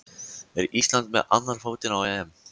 Er Ísland með annan fótinn á EM?